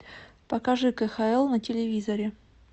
покажи кхл на телевизоре